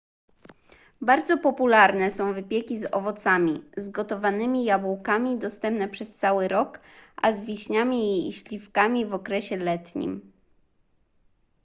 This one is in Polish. bardzo popularne są wypieki z owocami z gotowanymi jabłkami dostępne przez cały rok a z wiśniami i śliwkami w okresie letnim